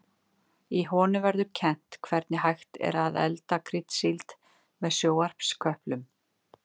Í honum verður kennt hvernig hægt er að elda kryddsíld með sjónvarpsköplum.